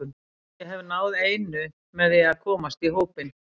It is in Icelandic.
Ég hef náð einu með því að komast í hópinn.